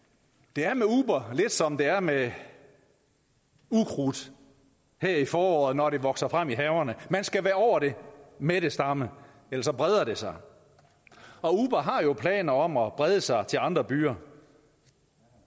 det er med uber lidt som det er med ukrudt her i foråret når det vokser frem i haverne man skal være over det med det samme ellers breder det sig og uber har jo planer om at brede sig til andre byer